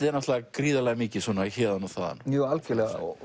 er náttúrulega gríðarlega mikið héðan og þaðan já algjörlega og